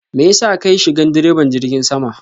mayasa kayi shigan diraban jirgin sama?